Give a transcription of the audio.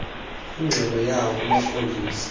ingxelo yawo kumapolisa